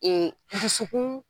E dusukun.